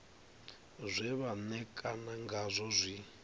zwe vha ṋekana ngazwo zwi